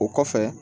O kɔfɛ